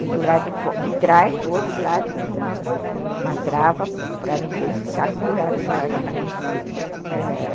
E do lado de trás, do outro lado, tinha uma trava para ninguém ficar pendurada do lado de lá.